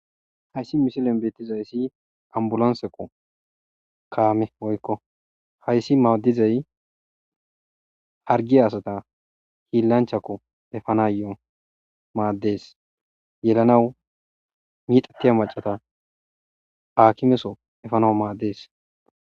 Hayssi misilen beettizayssi ambulonseko kaame oykko hayssi maaddizay hargia asata hiillanchakko efanayo maaddees yelanaw miixattiya macata haakimeso efano maaddees.